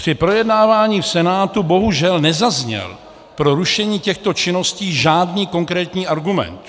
Při projednávání v Senátu bohužel nezazněl pro rušení těchto činností žádný konkrétní argument.